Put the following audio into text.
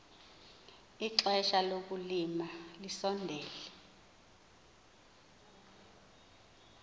ixesha lokulima lisondele